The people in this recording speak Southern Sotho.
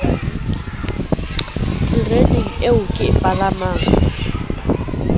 tereneng eo ke e palamang